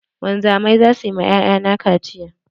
Wanzamai zasu ma 'ya'ya na kaciya.